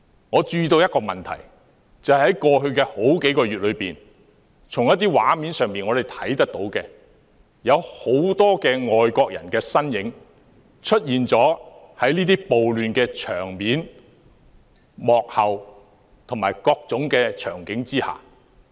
我注意到一個問題，就是在過去數月，我們從一些畫面上看到有很多外國人的身影，出現在這些暴亂場面、幕後及各種場景中。